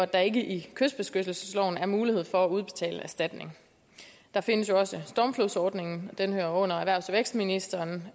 der er ikke i kystbeskyttelsesloven mulighed for at udbetale erstatning der findes jo også stormflodsordningen og den hører under erhvervs og vækstministeren